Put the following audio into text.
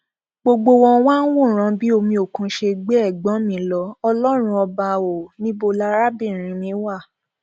gbogbo wọn wàá ń wòran bí omi òkun ṣe gbé ẹgbọn mi lọ ọlọrun ọba ò níbo larábìnrin mi wà